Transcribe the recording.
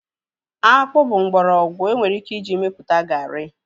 Akpụ bụ mgbọrọgwụ enwere ike iji mepụta garị